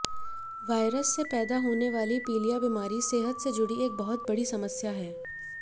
virus से पैदा होने वाली पीलिया बीमारी सेहत से जुड़ी एक बहुत बड़ी समस्या है